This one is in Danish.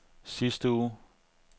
sidste uge